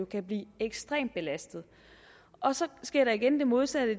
kan blive ekstremt belastet og så sker der igen det modsatte af